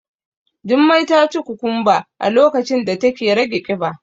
Jummai taci kukumba a lokacin da take rage kiba.